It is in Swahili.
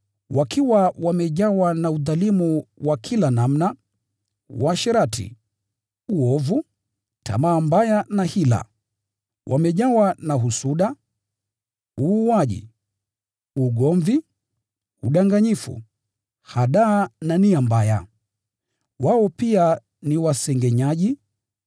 Wakiwa wamejawa na udhalimu wa kila namna, uasherati, uovu, tamaa mbaya na hila. Wamejawa na husuda, uuaji, ugomvi, udanganyifu, hadaa na nia mbaya. Wao pia ni wasengenyaji,